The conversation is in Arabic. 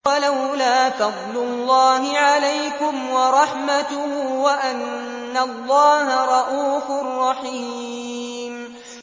وَلَوْلَا فَضْلُ اللَّهِ عَلَيْكُمْ وَرَحْمَتُهُ وَأَنَّ اللَّهَ رَءُوفٌ رَّحِيمٌ